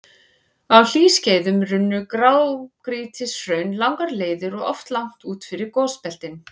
Á hlýskeiðum runnu grágrýtishraun langar leiðir og oft langt út fyrir gosbeltin.